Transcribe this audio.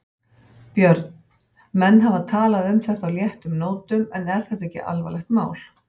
Björn: Menn hafa talað um þetta á léttum nótum en er þetta ekki alvarlegt mál?